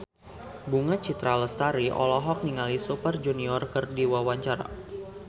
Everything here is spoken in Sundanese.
Bunga Citra Lestari olohok ningali Super Junior keur diwawancara